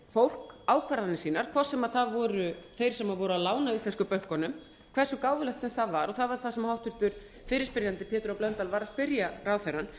fólk ákvarðanir sínar hvort sem það voru þeir sem voru að lána íslensku bönkunum hversu gáfulegt sem það var og það var það sem háttvirtur fyrirspyrjandi pétur h blöndal var að spyrja ráðherrann